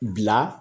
Bila